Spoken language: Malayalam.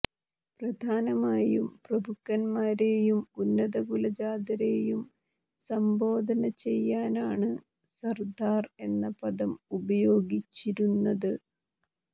പ്രധാനമായും പ്രഭുക്കൻമാരെയും ഉന്നതകുലജാതരെയും സംബോധന ചെയ്യാനാണ് സർദാർ എന്ന പദം ഉപയോഗിച്ചിരുന്നത്